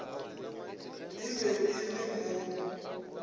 e be e le mo